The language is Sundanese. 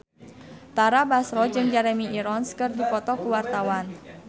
Tara Basro jeung Jeremy Irons keur dipoto ku wartawan